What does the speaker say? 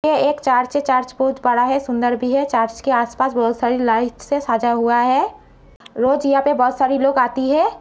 ये एक चर्च है बहुत बड़ा है सुंदर भी है चर्च के आस-पास बहुत सारी लाइट्स से सजा हुआ है। रोज यहाँ पर बहुत सारे लोग आती है।